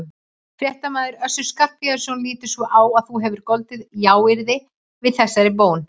Fréttamaður: Össur Skarphéðinsson lítur svo á að þú hafir goldið jáyrði við þessari bón hans?